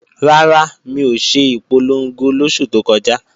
Rárá, mi ò ṣe ìpolongo lóṣù tó kọjá